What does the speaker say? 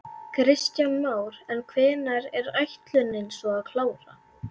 Kristján Már: En hvenær er ætlunin svo að klára?